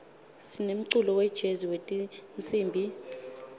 sinemculo wejezi wetinsimbi